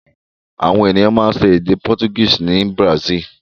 Àwọn ènìyàn máa ń sọ èdè Portuguese ní Brazil.